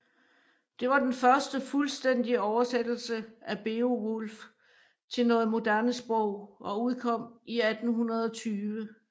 Det var den første fuldstændige oversættelse af Beowulf til noget moderne sprog og udkom i 1820